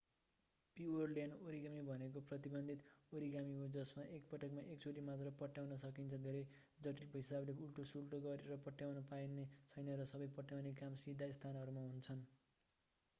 पिओरल्यान्ड origami भनेको प्रतिबन्धित origami हो जसमा एकपटकमा एक चोटि मात्र पट्याउन सकिन्छ धेरै जटिल हिसाबले उल्टोसुल्टो गरेर पट्याउन पाइने छैन र सबै पट्याउने काम सीधा स्थानहरूमा हुन्छन्